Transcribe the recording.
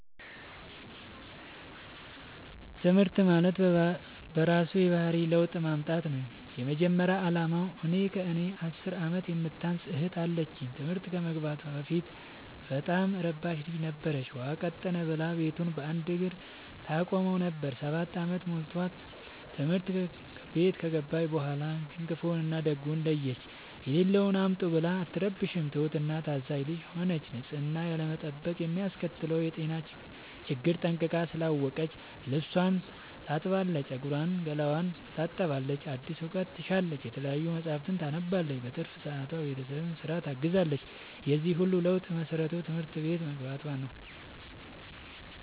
ትምህርት ማለት በእራሱ የባህሪ ለውጥ ማምጣት ነው የመጀመሪያ አላማው። እኔ ከእኔ አስር አመት የምታንስ እህት አለችኝ ትምህርት ከመግባቷ በፊት በጣም እረባሽ ልጅ ነበረች። ውሃ ቀጠነ ብላ ቤቱን በአንድ እግሩ ታቆመው ነበር። ሰባት አመት ሞልቶት ትምህርት ቤት ከገባች በኋላ ግን ክፋውን እና ደጉን ለየች። የሌለውን አምጡ ብላ አትረብሽም ትሁት እና ታዛዣ ልጅ ሆነች ንፅህናን ያለመጠበቅ የሚያስከትለውን የጤና ችግር ጠንቅቃ ስላወቀች ልብስቿን ታጥባለች ፀጉሯን ገላዋን ትታጠባለች አዲስ እውቀት ትሻለች የተለያዩ መፀሀፍትን ታነባለች በትርፍ ሰዓቷ ቤተሰብን ስራ ታግዛለች የዚህ ሁሉ ለውጥ መሰረቱ ትምህርት ቤት መግባቶ ነው።